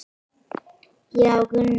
Já, Gunna.